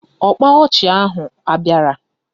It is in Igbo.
Ọkpa ọchị ahụ abịara?